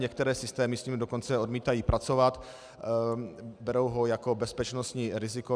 Některé systémy s ním dokonce odmítají pracovat, berou ho jako bezpečnostní riziko.